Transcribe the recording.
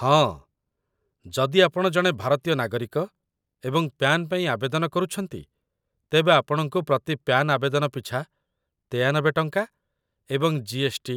ହଁ, ଯଦି ଆପଣ ଜଣେ ଭାରତୀୟ ନାଗରିକ ଏବଂ ପ୍ୟାନ୍ ପାଇଁ ଆବେଦନ କରୁଛନ୍ତି, ତେବେ ଆପଣଙ୍କୁ ପ୍ରତି ପ୍ୟାନ୍ ଆବେଦନ ପିଛା ୯୩ ଟଙ୍କା ଏବଂ ଜି.ଏସ୍‌.ଟି.,